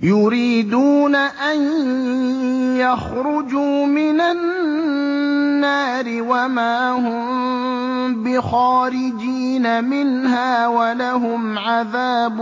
يُرِيدُونَ أَن يَخْرُجُوا مِنَ النَّارِ وَمَا هُم بِخَارِجِينَ مِنْهَا ۖ وَلَهُمْ عَذَابٌ